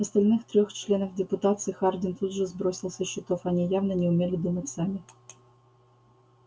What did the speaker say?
остальных трёх членов депутации хардин тут же сбросил со счетов они явно не умели думать сами